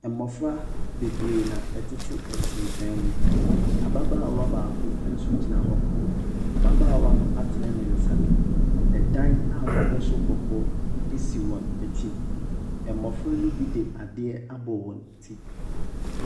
Mmɔfra bebree na ɛtete nsensɛn mu ababaawa baako nso gyina hɔ, ababaawa no atene ne nsa, dan a wabɔ so kɔkɔɔ si wɔn akyi, mmɔfra ne bi de adeɛ abɔ wɔn ti.